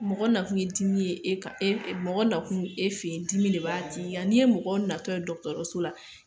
Mɔgɔ na kun ye dimi ye e kan, mɔgɔ na kun e fɛ yen ,dimi de b'a tigi la. n'i ye mɔgɔ natɔ ye dɔgɔtɔrɔso la, dimi de b'a kan.